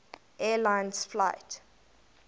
air lines flight